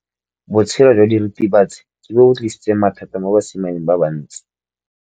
Botshelo jwa diritibatsi ke bo tlisitse mathata mo basimaneng ba bantsi.